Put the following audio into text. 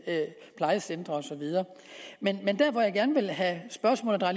plejecentre osv men der hvor jeg gerne vil have spørgsmålet og